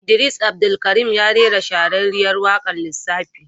Idris Abdulkarim ya rera shahararriyar waƙar lissafi.